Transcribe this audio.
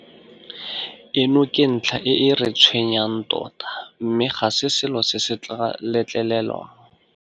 Eno ke ntlha e e re tshwenyang tota mme ga se selo se se tla letlelelwang.